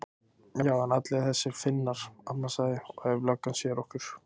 Já en allir þessir Finnar. amma sagði. og ef löggan sér okkur.